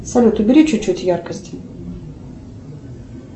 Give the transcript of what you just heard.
салют убери чуть чуть яркость